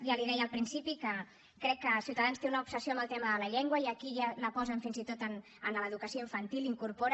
ja li deia al principi que crec que ciutadans té una obsessió amb el tema de la llengua i aquí ja la posen fins i tot en l’educació infantil la incorporen